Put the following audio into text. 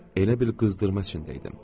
Elə bir qızdırma içində idim.